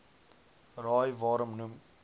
raai waarom noem